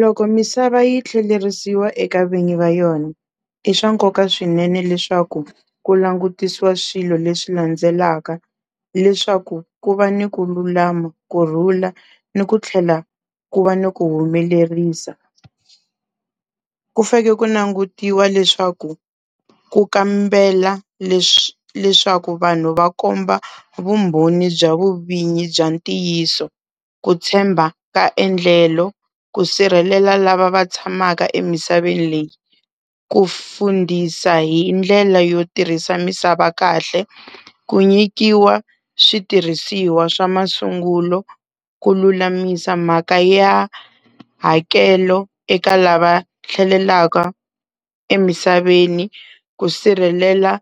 Loko misava yi tlhelerisiwa eka vinyi va yona, i swa nkoka swinene leswaku ku langutisiwa swilo leswi landzelaka leswaku ku va ni ku lulama, kurhula ni ku tlhela ku va ni ku humelerisa. Ku fake ku nangutiwa leswaku ku kambela leswaku vanhu va komba vumbhoni bya vuvinyi bya ntiyiso, ku tshemba ka endlelo, ku sirhelela lava va tshamaka emisaveni leyi, ku fundisa hi ndlela yo tirhisa misava kahle, ku nyikiwa switirhisiwa swa masungulo, ku lulamisa mhaka ya hakelo eka lava tlhelelaka emisaveni, ku sirhelela